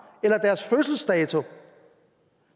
eller deres fødselsdato